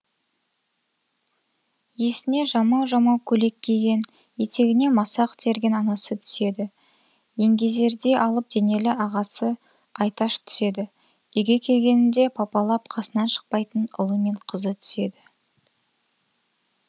есіне жамау жамау көйлек киген етегіне масақ терген анасы түседі еңгезердей алып денелі ағасы айташ түседі үйге келгенінде папалап қасынан шықпайтын ұлы мен қызы түседі